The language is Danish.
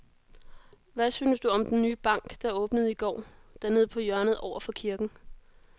Hvad synes du om den nye bank, der åbnede i går dernede på hjørnet over for kirken?